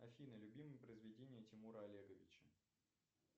афина любимое произведение тимура олеговича